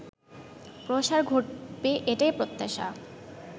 প্রসার ঘটবে এটাই প্রত্যাশা